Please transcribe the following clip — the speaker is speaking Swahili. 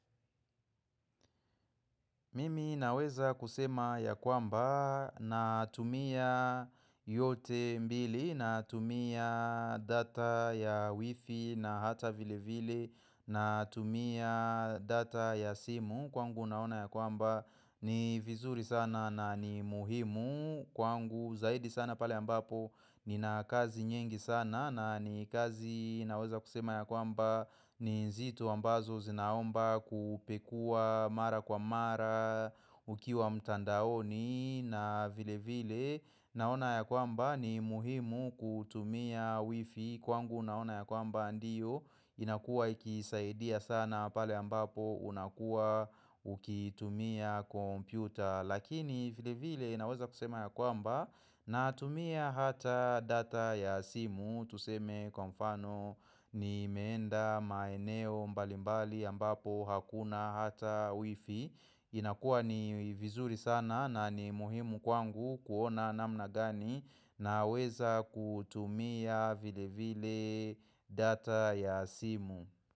Mimi naweza kusema ya kwamba natumia yote mbili natumia data ya wifi na hata vile vile na tumia data ya simu kwangu naona ya kwamba ni vizuri sana na ni muhimu kwangu zaidi sana pale ambapo nina kazi nyingi sana na ni kazi naweza kusema ya kwamba ni vitu ambazo zinaomba kupekuwa mara kwa mara ukiwa mtandaoni na vile vile naona ya kwamba ni muhimu kutumia wifi kwangu naona ya kwamba ndiyo inakua ikisaidia sana pale ambapo unakua ukitumia kompyuta Lakini vile vile naweza kusema ya kwamba natumia hata data ya simu Tuseme kwa mfano nimeenda maeneo mbalimbali ambapo hakuna hata wifi inakua ni vizuri sana na ni muhimu kwangu kuona namna gani naweza kutumia vile vile data ya simu.